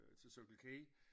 Til Circle K